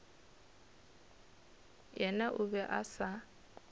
yena o be a sa